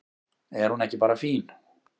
Er hún ekki bara fín?